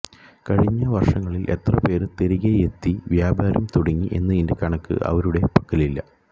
കഴിഞ്ഞ വര്ഷങ്ങളില് എത്ര പേര് തിരികെയെത്തി വ്യാപാരം തുടങ്ങി എന്നതിന്റെ കണക്ക് അവരുടെ പക്കലില്ല